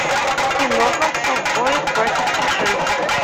киноха ковбои против пришельцев